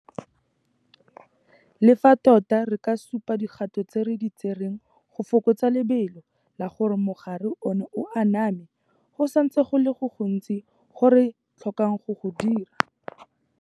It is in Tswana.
Le fa tota re ka supa dikgato tse re di tsereng go fokotsa lebelo la gore mogare ono o aname, go santse go le go gontsi go re tlhokang go go dira.